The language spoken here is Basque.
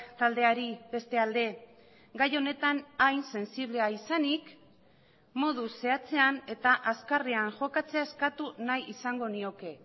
taldeari beste alde gai honetan hain sensiblea izanik modu zehatzean eta azkarrean jokatzea eskatu nahi izango nioke